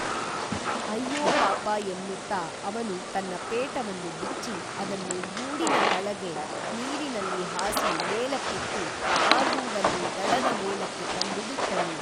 ಅಯ್ಯೋ ಪಾಪ ಎನ್ನುತ್ತಾ ಅವನು ತನ್ನ ಪೇಟವನ್ನು ಬಿಚ್ಚಿ ಅದನ್ನು ಗೂಡಿನ ತಳಗೆ ನೀರಿನಲ್ಲಿ ಹಾಸಿ ಮೇಲಕ್ಕೆತ್ತಿ ಆ ಗೂಡನ್ನು ದಡದ ಮೇಲಕ್ಕೆ ತಂದು ಬಿಟ್ಟನು